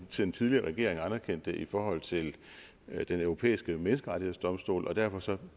den tidligere regering jo anerkendt i forhold til den europæiske menneskerettighedsdomstol og derfor